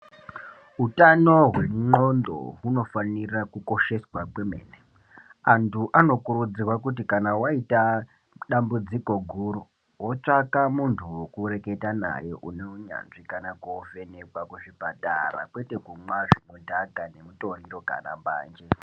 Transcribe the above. Utano hwe ndxondo unofanira kukosheswa kwemene. Antu anokurudzirwa kuti kana waita dambudziko guru wotsvaka muntu wekureketa naye une unyanzvi kana kuvhenekwa kuzvipatara kwete kumwa zvinodhaka nemitoriro kana mbanje.